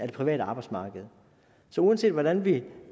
det private arbejdsmarked så uanset hvordan vi